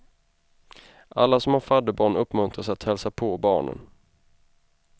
Alla som har fadderbarn uppmuntras att hälsa på barnen.